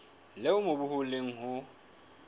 leo mobu o leng ho